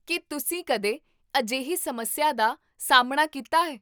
ਕੀ ਤੁਸੀਂ ਕਦੇ ਅਜਿਹੀ ਸਮੱਸਿਆ ਦਾ ਸਾਹਮਣਾ ਕੀਤਾ ਹੈ?